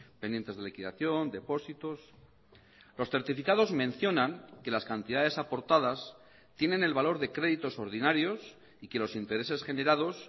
pendientes de liquidación depósitos los certificados mencionan que las cantidades aportadas tienen el valor de créditos ordinarios y que los intereses generados